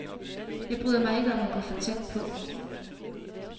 Jeg bryder mig ikke om at gå for tæt på.